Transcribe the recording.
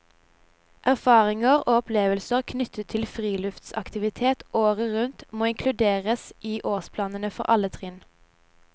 Erfaringer og opplevelser knyttet til friluftsaktiviteter året rundt må inkluderes i årsplanene for alle trinn.